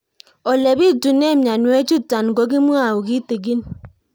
Ole pitune mionwek chutok ko kimwau kitig'ín